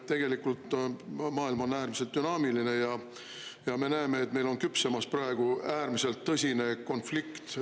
Tegelikult maailm on äärmiselt dünaamiline ja me näeme, et meil on küpsemas praegu äärmiselt tõsine konflikt.